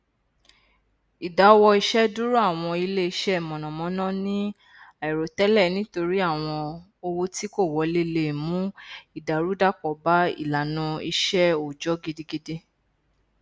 ìdáwọiṣẹdúró àwọn iléiṣẹ mànnàmánná ní àìròtẹlẹ nítorí àwọn owó tí kò wọlé le mú ìdàrúdàpọ bá ìlànà iṣẹ òòjọ gidigidi